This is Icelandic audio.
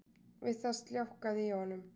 Við það sljákkaði í honum